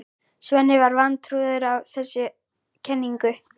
Svenni var vantrúaður á þessa kenningu.